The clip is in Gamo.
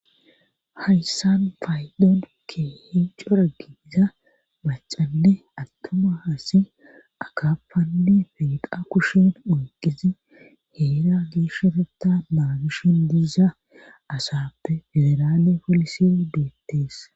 hayssan faaydon ke hinco raggiiza bacanne attuma hasi akappanne feqa kushen oyqizi heera geeshareta maagishen diiza asafe federaale polisi deettees